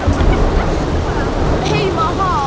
Hann leit á klukkuna, hún var að verða ellefu.